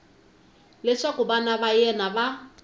leswaku vana va yena va